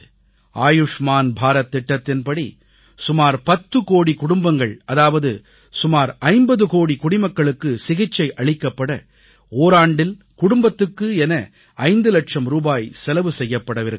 ஆயுஷ்மான் பாரத் சுகதாரத் திட்டத்தின்படி சுமார் 10 கோடிக் குடும்பங்கள் அதாவது சுமார் 50 கோடி குடிமக்களுக்கு சிகிச்சை அளிக்கப்பட ஓராண்டில் குடும்பத்துக்கு என 5 இலட்சம் ரூபாய் செலவு செய்யப்படவிருக்கிறது